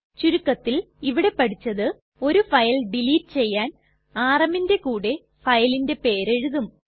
ചുരുക്കത്തിൽ ഇവിടെ പഠിച്ചത് ഒരു ഫയൽ ഡിലീറ്റ് ചെയ്യാൻ rmന്റെ കൂടെ ഫയലിന്റെ പേര് എഴുതും